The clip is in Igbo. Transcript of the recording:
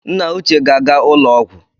Nna uche ga-aga ụlọ ọgwụ